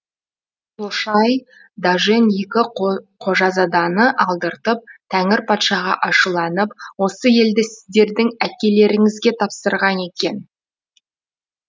лошай дажен екі қожазаданы алдыртып тәңір патшаға ашуланып осы елді сіздердің әкелеріңізге тапсырған екен